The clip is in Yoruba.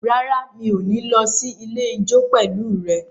Rárá, mi ò ní lọ sí ilé ijó pẹ̀lú rẹ